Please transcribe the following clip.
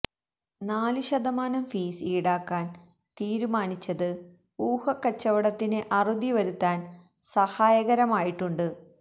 നാലു ശതമാനം ഫീസ് ഈടാക്കാന് തീരുമാനിച്ചത് ഊഹക്കച്ചവടത്തിന് അറുതി വരുത്താന് സഹായകരമായിട്ടുണ്ട്